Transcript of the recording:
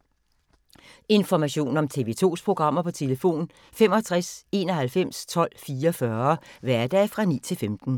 Information om TV 2's programmer: 65 91 12 44, hverdage 9-15.